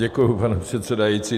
Děkuji, pane předsedající.